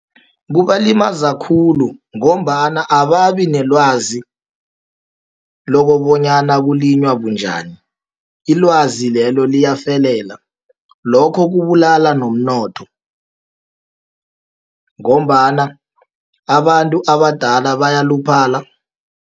Kubalimaza khulu, ngombana ababinelwazi lokobonyana kulinywa bunjani. Ilwazi lelo, liyafelela, lokho kubulala nomnotho, ngombana abantu abadala bayaluphala.